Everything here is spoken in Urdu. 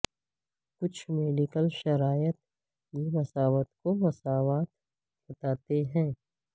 کچھ میڈیکل شرائط یہ مساوات کو مساوات بناتے ہیں